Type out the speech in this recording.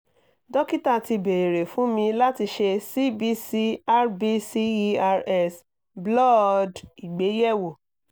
dokita ti beere fun mi lati ṣe cbc rbcers bloodd igbeyewo